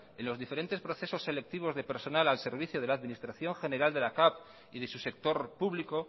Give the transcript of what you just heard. en los diferentes procesos selectivos de personal al servicio de la administración general de la capv y de su sector público